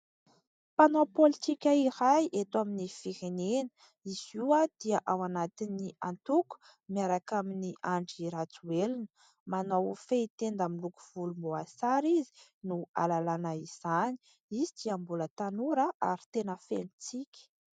Mpanao politika iray eto amin'ny firenena ,izy Io a dia ao anatin'ny antoko miaraka amin'ny andry rajoelina manao fehitenda amin'ny loko volomboasary .Izy no ahalalana izany. Izy dia mbola tanora ary tena feno tsiky .